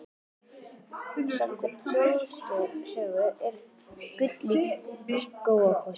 Samkvæmt þjóðsögu er gull í Skógafossi.